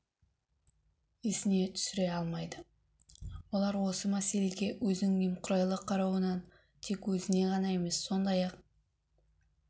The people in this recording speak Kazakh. есіне түсіре алмайды олар осы мәселеге өзінің немқұрайлы қарауынан тек өзіне ғана емес сондай-ақ